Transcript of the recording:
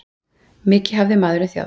Mikið hafði maðurinn þjáðst.